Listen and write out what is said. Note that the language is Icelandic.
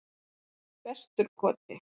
Vesturkoti